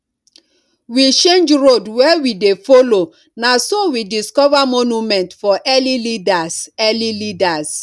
we change road wey we dey follow na so we discover monument for early leaders early leaders